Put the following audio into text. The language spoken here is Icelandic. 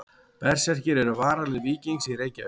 Berserkir eru varalið Víkings í Reykjavík.